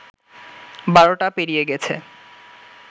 ১২টা পেরিয়ে গেছে